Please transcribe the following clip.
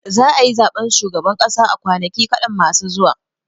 Za a yi zaɓen shugaban ƙasa a kwanaki kaɗan masu zuwa.